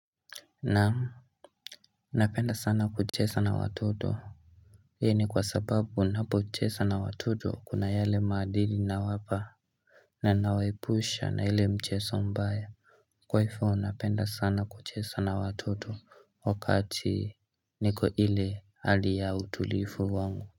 Naam napenda sana kuchesa na watoto hii ni kwa sababu unapo chesa na watoto kuna yale maadili na wapa na nawaepusha na ile mcheso mbaya Kwa hifo napenda sana kuchesa na watoto wakati niko ile hali ya utulifu wangu.